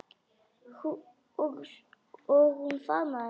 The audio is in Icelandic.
Og hún faðmaði mig.